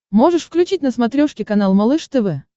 можешь включить на смотрешке канал малыш тв